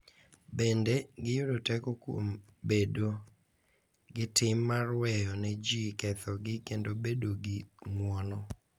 Bende, giyudo teko kuom bedo gi tim mar weyo ne ji kethogi kendo bedo gi ng’uono.